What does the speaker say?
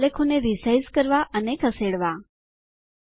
આલેખોને resize માપમાં ફેરબદલ કરવા અને ખસેડવા